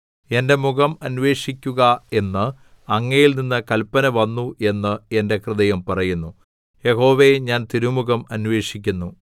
എന്റെ മുഖം അന്വേഷിക്കുക എന്ന് അങ്ങയിൽനിന്ന് കല്പന വന്നു എന്ന് എന്റെ ഹൃദയം പറയുന്നു യഹോവേ ഞാൻ തിരുമുഖം അന്വേഷിക്കുന്നു